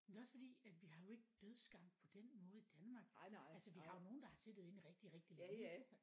Men det er også fordi at vi har jo ikke dødsgang på den måde i Danmark altså vi har jo nogen der har siddet inde rigtig rigtig længe ikke